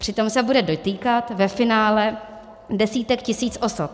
Přitom se bude dotýkat ve finále desítek tisíc osob.